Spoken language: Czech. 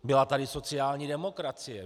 Byla tady sociální demokracie.